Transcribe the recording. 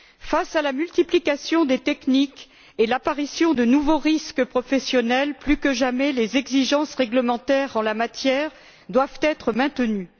Face à la multiplication des techniques et l'apparition de nouveaux risques professionnels, plus que jamais, les exigences réglementaires en la matière doivent être maintenues.